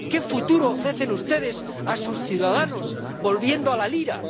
¿Qué futuro ofrecen ustedes a sus ciudadanos volviendo a la lira?